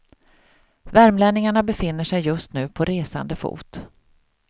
Värmlänningarna befinner sig just nu på resande fot.